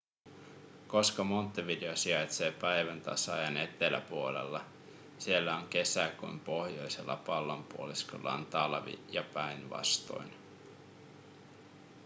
koska montevideo sijaitsee päiväntasaajan eteläpuolella siellä on kesä kun pohjoisella pallonpuoliskolla on talvi ja päinvastoin